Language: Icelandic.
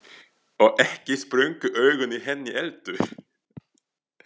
Og ekki sprungu augun í henni heldur.